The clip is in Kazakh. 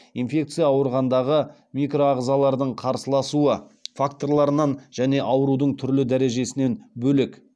инфекция ауруындағы микроағзалардың қарсыласуы факторларынан және аурудың түрлі дәрежесінен бөлек